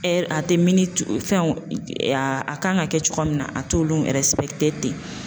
a tɛ miniti fɛn o a kan ka kɛ cogoya min na a t'olu ten